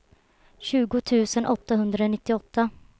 tjugo tusen åttahundranittioåtta